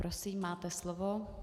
Prosím, máte slovo.